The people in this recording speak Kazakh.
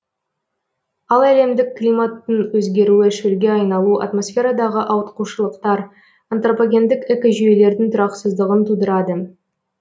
ал әлемдік климаттың өзгеруі шөлге айналу атмосферадағы ауытқушылықтар антропогендік экожүйелердің тұрақсыздығын тудырады